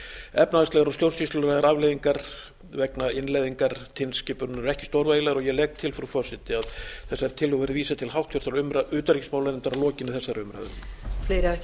efnahagslegar og stjórnsýslulegar vegna innleiðingar tilskipunarinnar eru ekki stórvægilegar ég legg til frú forseti að þessari tillögu verði vísað til háttvirtrar utanríkismálanefndar að lokinni þessari umræðu